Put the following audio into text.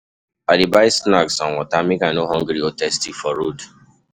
I dey buy snacks and water, make I no hungry or thirsty for traffic